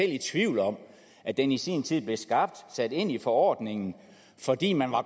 i tvivl om at den i sin tid blev skabt og sat ind i forordningen fordi man